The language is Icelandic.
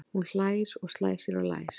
Hún hlær og slær sér á lær.